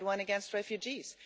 we had one against refugees